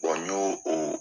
n y'o o